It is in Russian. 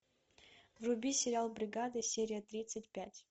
вруби сериал бригада серия тридцать пять